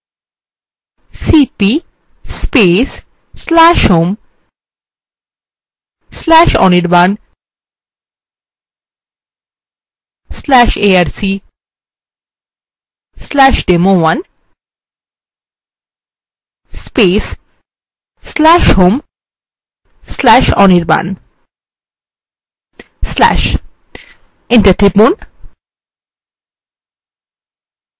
cp/home/anirban/arc/demo1/home/anirban/ enter টিপুন